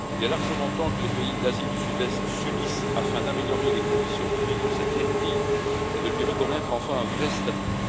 Il est largement temps que les pays d'Asie du Sud Est s'unissent afin d'améliorer les conditions de vie de cette ethnie et de lui reconnaître enfin un vrai statut.